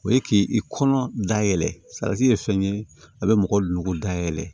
O ye k'i kɔnɔ da yɛlɛ salati ye fɛn ye a bɛ mɔgɔ logolo dayɛlɛ